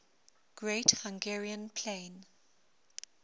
great hungarian plain